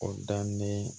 O daminɛ